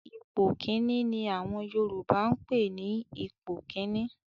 "Ipò kíní" ni àwọn Yorùbá ń pè ní ipò kíní